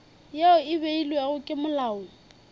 yeo e beilwego ke molao